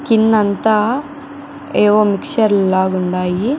కింద అంతా ఏవో మిక్సర్ లాగ ఉండాయి.